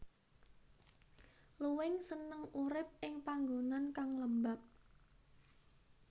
Luwing seneng urip ing panggonan kang lembab